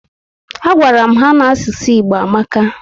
A gwara m ha n'asụsụ Igbo amaka